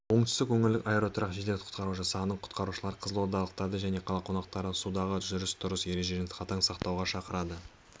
оңтүстік өңірлік аэроұтқыр жедел-құтқару жасағының құтқарушылары қызылордалықтарды және қала қонақтарын судағы жүріс-тұрыс ережелерін қатаң сақтауға шақырды